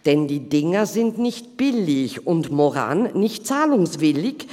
Denn die Dinger sind nicht billig und Maurane nicht zahlungswillig.